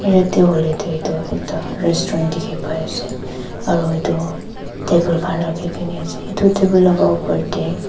yate hoile toh itu ekta restaurant dikhi pai ase aro itu table khan rakhi kena ase itu table laga opor te--